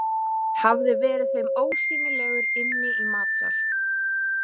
Hafði verið þeim ósýnilegur inni í matsal.